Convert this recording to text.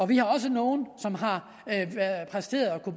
vi har også nogle som har præsteret